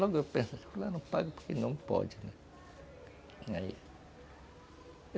Logo eu pensava, fulano não paga porque não pode, né.